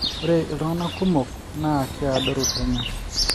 ore iltunganak kumok naaa keadoru penyo